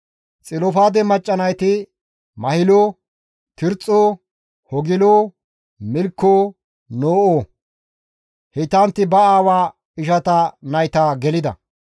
Xilofaade macca nayti Mahilo, Tirxxo, Hogilo, Milkko, No7o; heytantti ba aawa ishata nayta gelida.